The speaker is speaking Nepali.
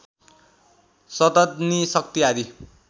शतघ्नी शक्ति आदि